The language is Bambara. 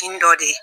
N dɔ de ye